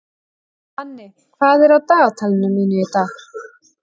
Manni, hvað er á dagatalinu mínu í dag?